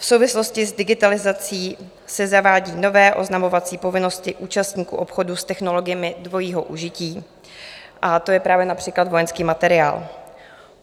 V souvislosti s digitalizací se zavádí nové oznamovací povinnosti účastníků obchodu s technologiemi dvojího užití, a to je právě například vojenský materiál.